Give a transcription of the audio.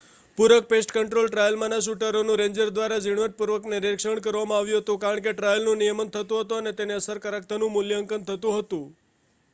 પૂરક pest control ટ્રાયલમાંના શૂટરોનું રેન્જરો દ્વારા ઝીણવટપૂર્વક નિરીક્ષણ કરવામાં આવતું હતું કારણ કે ટ્રાયલનું નિયમન થતું હતું અને તેની અસરકારકતાનું મૂલ્યાંકન થતું હતું